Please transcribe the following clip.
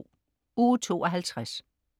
Uge 52